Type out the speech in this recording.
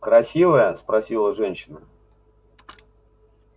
красивая спросила женщина